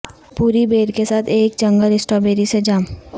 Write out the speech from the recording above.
پوری بیر کے ساتھ ایک جنگل سٹرابیری سے جام